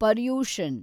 Paryushan